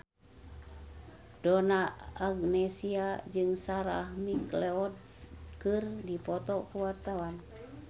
Donna Agnesia jeung Sarah McLeod keur dipoto ku wartawan